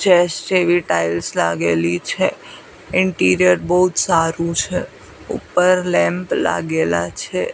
Chess જેવી tiles લાગેલી છે ઇન્ટિરિયર બોજ સારુ છે ઉપર લેમ્પ લાગેલા છે.